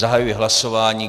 Zahajuji hlasování.